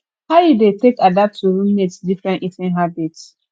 how you dey take adapt to roommates different eating habits